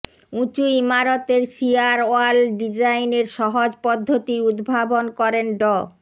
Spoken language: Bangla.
উঁচু ইমারতের শিয়ার ওয়াল ডিজাইনের সহজ পদ্ধতির উদ্ভাবন করেন ড